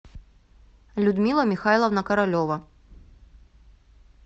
людмила михайловна королева